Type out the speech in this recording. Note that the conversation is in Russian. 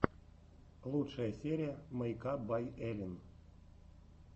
лучшая серия мэйкап бай эллин